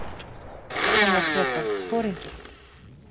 Hann var frekar foringinn.